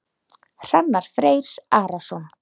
Hrannar Freyr Arason.